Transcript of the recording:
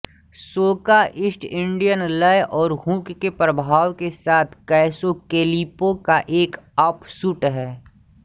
सोका East Indian लय और hook के प्रभाव के साथ कैसोकैलिपो का एक ऑफशूट है